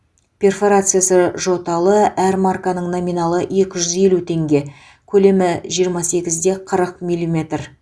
перфорациясы жоталы әр марканың номиналы екі жүз елу теңге көлемі жиырма сегіз де қырық миллиметр